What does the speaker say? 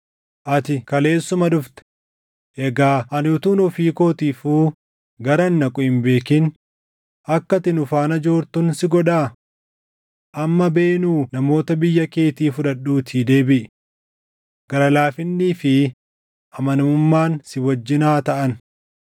Ati kaleessuma dhufte. Egaa ani utuun ofii kootiifuu garan dhaqu hin beekin akka ati nu faana joortun si godhaa? Amma beenuu namoota biyya keetii fudhadhuutii deebiʼi. Gara laafinnii fi amanamummaan si wajjin haa taʼan.”